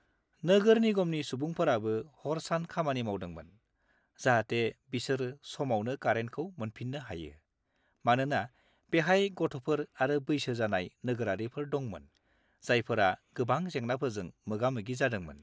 -नोगोर निगमनि सुबुंफोराबो हर-सान खामानि मावदोंमोन, जाहाथे बिसोर समावनो कारेन्टखौ मोनफिननो हायो, मानोना बेहाय गथ'फोर आरो बैसो जानाय नोगोरारिफोर दंमोन जायफोरा गोबां जेंनाफोरजों मोगा-मोगि जादोंमोन।